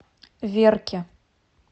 верке